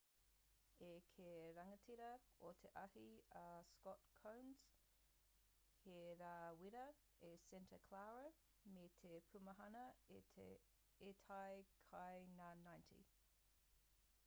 i kī te rangatira o te ahi a scott kouns he rā wera i santa clara me te pūmahana i tae ki ngā 90